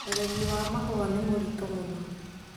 Ũrĩmi wa mahũa nĩ mũritũ mũno